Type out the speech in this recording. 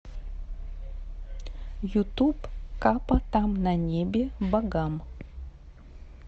ютуб капа там на небе богам